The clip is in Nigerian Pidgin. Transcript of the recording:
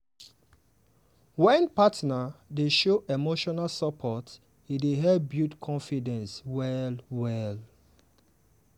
wen partner dey show emotional support e dey help build confidence well well.